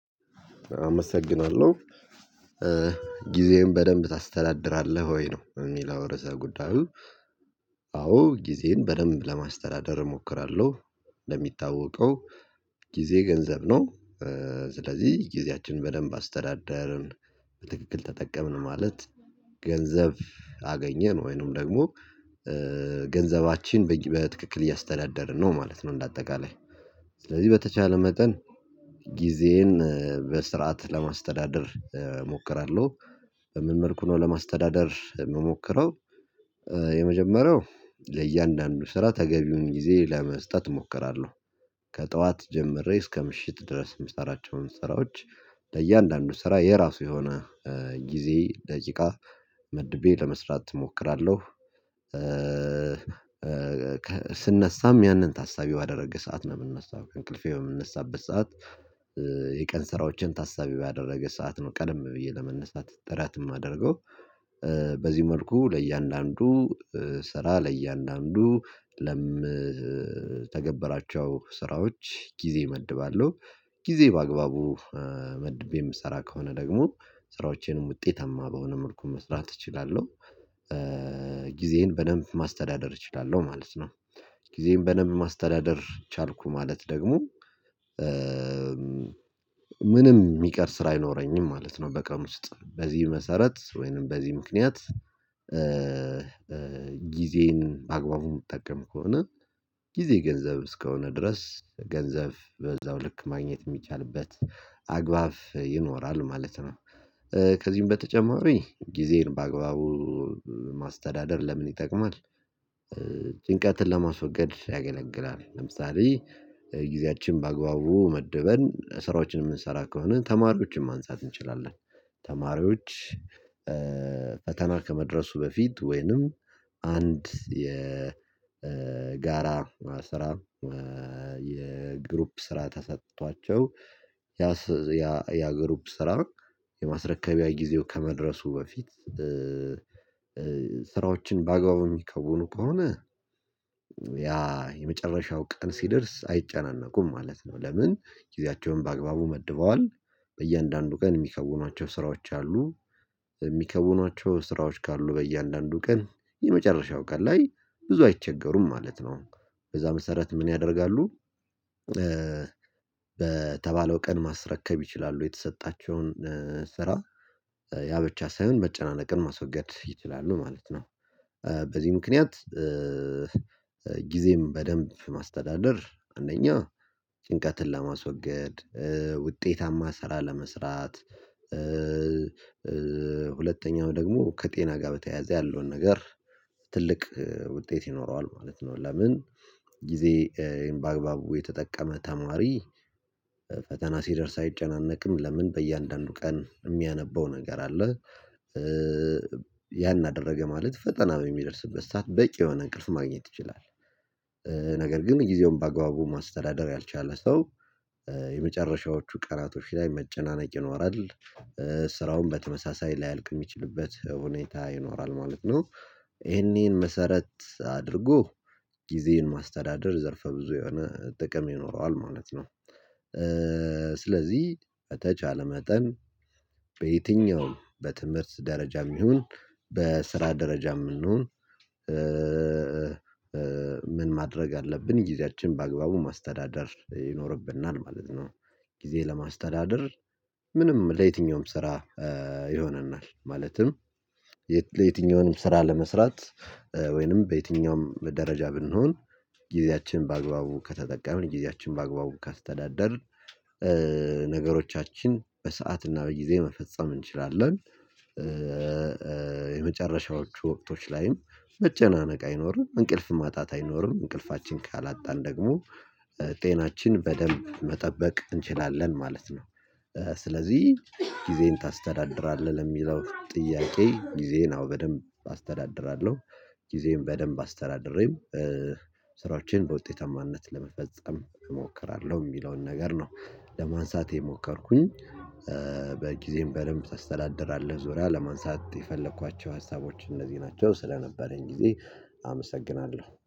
አመሰግናለሁ። ጊዜህን በደንብ ታስተዳድራለህ ወይ ነው የሚል ርዕሰ ጉዳዩ? አዎ ጊዜን በደንብ ለማስተዳደር እሞክራለሁ። ለሚታወቀው ጊዜ ገንዘብ ነው። ስለዚህ ጊዜያችንን በደንብ አስተዳደርን በትክክል ተጠቀምን ማለት ገንዘብ አገኘን ወይንም ደግሞ ገንዘባችን በትክክል እያስተዳደርን ነው ማለት ነው። እንደ አጠቃላይ ስለዚህ በተቻለ መጠን ጊዜን በስርዓት ለማስተዳደር እሞክራለሁ። በምን መልኩ ነው ለማስተዳደር የምሞክረው? የመጀመሪያው ለእያንዳንዱ ስራ ተገቢውን ጊዜ ለመስጠት እሞክራለሁ። ከጠዋት ጀምሬ እስከ ምሽት ድረስ የምሰራቸውን ስራዎች ለእያንዳንዱ ስራ የራሱ የሆነ ጊዜ ደቂቃ መድቤ ለመስራት እሞክራለሁ። ስነሳም ያንን ታሳቢ ባደረገ ሰዓት ነው የምንነሳው ከእንቅልፌ የምንነሳበት ሰዓት የቀን ስራዎችን ታሳቢ ባደረገ ሰዓት ነው ቀደም ብዬ ለመነሳት ጥረት የማደርገው። በዚህ መልኩ ለእያንዳንዱ ስራ ለእያንዳንዱ ለምተገበራቸው ስራዎች ጊዜ እመድባለሁ። ጊዜ በአግባቡ መድቤ የምሰራ ከሆነ ደግሞ ስራዎቼንም ውጤታማ በሆነ መልኩ መስራት እችላለሁ። ጊዜዬን በደንብ ማስተዳደር እችላለሁ ማለት ነው። ጊዜን በደንብ ማስተዳደር ቻልኩ ማለት ደግሞ ምንም የሚቀር ስራ አይኖረኝም ማለት ነው። በቃ ውስጥ በዚህ መሰረት ወይንም በዚህ ምክንያት። ጊዜን ማግባቡን የምትጠቀም ከሆነ ጊዜ ገንዘብ እስከሆነ ድረስ ገንዘብ በዛው ልክ ማግኘት የሚቻልበት አግባብ ይኖራሉ ማለት ነው። ከዚህም በተጨማሪ ጊዜዬን በአግባቡ ማስተዳደር ለምን ይጠቅማል? ጭንቀትን ለማስወገድ ያገለግላል ለምሳሌ ጊዜያችን ባግባቡ መድበን ስራዎችን የምንሰራ ከሆነ ተማሪዎችን ማንሳት እንችላለን። ተማሪዎች ፈተና ከመድረሱ በፊት ወይንም አንድ የጋራ ስራ የግሩፕ ስራ ተሰጥቷቸው ያ ያ ያ ያ ግሩፕ ስራ የማስረከቢያ ጊዜው ከመድረሱ በፊት። ስራዎችን በአግባቡ የሚከውኑ ከሆነ ያ የመጨረሻው ቀን ሲደርስ አይጨናነቁም ማለት ነው። ለምን ጊዜያቸውን በአግባቡ መድበዋል። በእያንዳንዱ ቀን የሚከውኗቸው ስራዎች አሉ። የሚከውኗቸው ስራዎች ካሉ በእያንዳንዱ ቀን የመጨረሻው ቀን ላይ ብዙ አይቸገሩም ማለት ነው። በዛ መሰረት ምን ያደርጋሉ? በተባለው ቀን ማስረከብ ይችላሉ የተሰጣቸውን ስራ ያ ብቻ ሳይሆን መጨናነቅን ማስወገድ ይችላሉ ማለት ነው። በዚህ ምክንያት ጊዜን በደንብ ማስተዳደር አንደኛ ጭንቀትን ለማስወገድ ውጤታማ ስራ ለመስራት። ሁለተኛው ደግሞ ከጤና ጋር በተያያዘ ያለውን ነገር ትልቅ ውጤት ይኖረዋል ማለት ነው። ለምን ጊዜዬን በአግባቡ የተጠቀመ ተማሪ ፈተና ሲደርስ አይጨነቅም ለምን በእያንዳንዱ ቀን የሚያነበው ነገር አለ። ያን አደረገ ማለት ፈተና በሚደርስበት ሰዓት በቂ የሆነ እንቅልፍ ማግኘት ይችላል። ነገር ግን ጊዜውን በአጋባቡ ማስተዳደር ያልቻለ ሰው የመጨረሻዎቹ ቀናቶች ላይ መጨናነቅ ይኖራል። ስራውን በተመሳሳይ ላያልቅ የሚችልበት ሁኔታ ይኖራል ማለት ነው። ይሄንን መሰረት አድርጎ ጊዜን ማስተዳደር ዘርፈ ብዙ የሆነ ጥቅም ይኖረዋል ማለት ነው። ስለዚህ በተቻለ መጠን በየትኛውም በትምህርት ደረጃም ይሁን በስራ ደረጃየም እንሁን። ምን ማድረግ አለብን ጊዜያችን በአግባቡ ማስተዳደር ይኖርብናል ማለት ነው። ጊዜ ለማስተዳደር ምንም ለየትኛውም ስራ ይሆነናል ማለትም የትኛውንም ስራ ለመስራት ወይንም በየትኛውም ደረጃ ብንሆን ጊዜያችን በአግባቡ ከተጠቀምን ጊዜያችን በአግባቡ ከስተዳደርን ነገሮቻችን በሰአት እና በጊዜ መፈጸም እንችላለን። የመጨረሻዎቹ ወቅቶች ላይም መጨናነቅ አይኖርም እንቅልፍ ማጣት አይኖርም እንቅልፋችን ካላጣን ደግሞ ጤናችን በደንብ መጠበቅ እንችላለን ማለት ነው። ስለዚህ ጊዜህን ታስተዳድራለህ ለሚለው ጥያቄ ጊዜን አዎ በደንብ አስተዳድራለሁ። ጊዜን በደንብ አስተዳድሬም ስራዎቼን በውጤታማነት ለመፈጸም እሞክራለሁ የሚለውን ነገር ነው ለማንሳት የሞከርኩኝ። በጊዜም በደንብ ተስተዳደራለህ ዙሪያ ለማንሳት የፈለኳቸው ሀሳቦች እንደዚህ ናቸው ስለነበረኝ ጊዜ አመሰግናለሁ